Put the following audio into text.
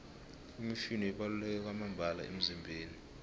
imifino ibaluleke kwamambala emizimbeni